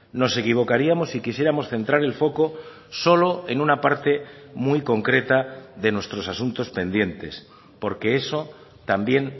nos equivocaríamos si quisiéramos centrar el foco solo en una parte muy concreta de nuestros asuntos pendientes porque eso también